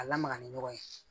A lamaga ni ɲɔgɔn ye